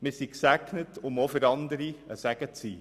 Wir sind gesegnet, um auch für andere ein Segen zu sein.